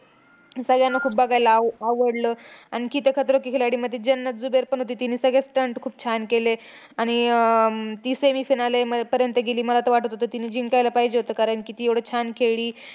सगळ्यांना खूप बघायला आव आवडलं. आणखी ते खतरों के खिलाडीमध्ये जन्नत जुबैर पण होती. तिने सगळे stunt खूप छान केले. आणि अं ती semi final म पर्यंत गेली. मला तर वाटतं होतं तिने जिंकायला पाहिजे होतं, कारण की ती एवढं छान खेळली.